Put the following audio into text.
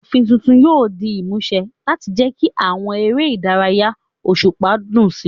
Òfin tuntun yóò di ìmúṣẹ láti jẹ́ kí àwọn eré ìdárayá òṣùpá dùn sí i.